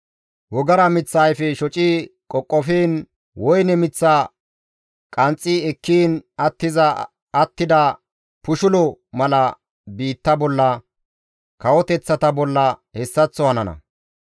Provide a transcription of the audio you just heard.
Wogara miththa ayfe shoci qoqofiin woyne miththa qanxxi ekkiin attiza attida pushulo mala biittaa bolla, kawoteththata bolla hessaththo hanana.